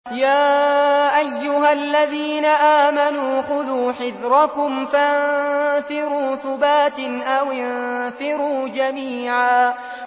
يَا أَيُّهَا الَّذِينَ آمَنُوا خُذُوا حِذْرَكُمْ فَانفِرُوا ثُبَاتٍ أَوِ انفِرُوا جَمِيعًا